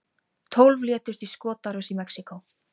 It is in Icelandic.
Tólf létust í skotárás í Mexíkó